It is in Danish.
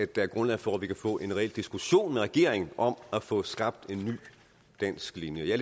der er grundlag for at vi kan få en reel diskussion med regeringen om at få skabt en ny dansk linje jeg